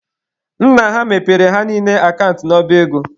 Nna ha mepere ha niile akant n'ọba ego.